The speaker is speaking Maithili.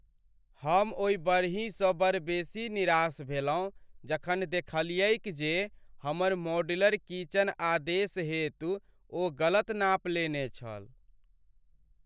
हम ओहि बढ़हीसँ बड़ बेसी निराश भेलहुँ जखन देखलियैक जे हमर मॉड्यूलर किचन आदेश हेतु ओ गलत नाप लेने छल।